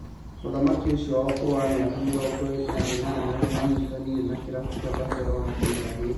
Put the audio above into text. Mũthaki ũcio wa ũkũrũ wa mĩaka mĩrongo ĩrĩ na ĩnana, nĩanyitanĩire na kĩrabu kĩa Barcelona kĩmera gĩkĩ